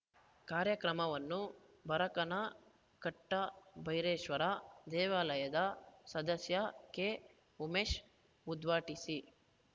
ಕಾರ್ಯಕ್ರಮವನ್ನು ಬರಕನ ಕಟ್ಟಬೈರೇಶ್ವರ ದೇವಾಲಯದ ಸದಸ್ಯ ಕೆಉಮೇಶ್‌ ಉದ್ಘಾಟಿಸಿ